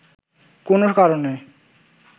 কোনো কারণে